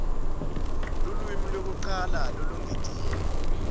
lulwimi lwekucala lolwengetiwe